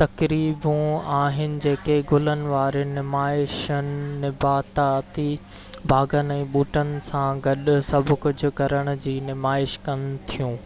تقريبون آهن جيڪي گلن وارين نمائشن نباتاتي باغن ۽ ٻوٽن سان گڏ سڀ ڪجهه ڪرڻ جي نمائش ڪن ٿيون